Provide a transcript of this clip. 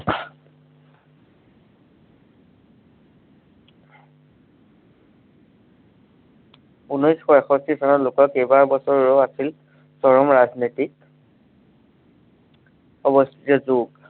উনৈশ শ এষষ্ঠি চনত কেইবাবছৰো আছিল চৰম ৰাজনৈতিক অৱস্থিত দুখ